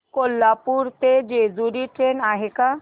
कोल्हापूर ते जेजुरी ट्रेन आहे का